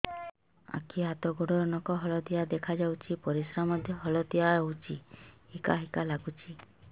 ଆଖି ହାତ ଗୋଡ଼ର ନଖ ହଳଦିଆ ଦେଖା ଯାଉଛି ପରିସ୍ରା ମଧ୍ୟ ହଳଦିଆ ହଉଛି ହିକା ହିକା ଲାଗୁଛି